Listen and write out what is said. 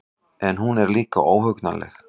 En hún er líka óhugnanleg.